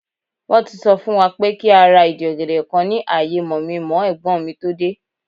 Won ti so fun wa pe ki a ra idi ogede kan ki aye mominmoo egbon mi to de